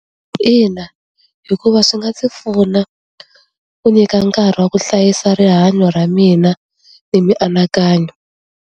Ina hikuva swi nga ndzi pfuna ku nyika nkarhi wa ku hlayisa rihanyo ra mina emianakanyo.